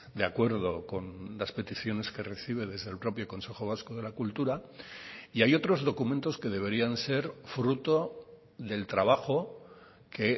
de acuerdo con las peticiones que recibe desde el propio consejo vasco de la cultura y hay otros documentos que deberían ser fruto del trabajo que